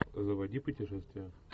заводи путешествие